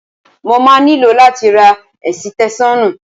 Mo máa nílò láti ra ẹ̀sìtẹ́ṣọ́nù.